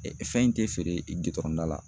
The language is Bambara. fɛn in tɛ feere gidɔrɔn da la